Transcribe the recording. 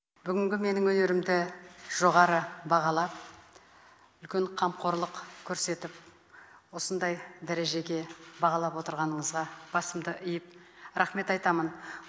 бүгінгі менің өнерімді жоғары бағалап үлкен қамқорлық көрсетіп осындай дәрежеге бағалап отырғаныңызға басымды иіп рахмет айтамын